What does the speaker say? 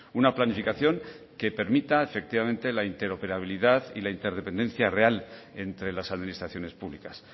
una planificación que permita efectivamente la interoperabilidad y la interdependencia real entre las administraciones públicas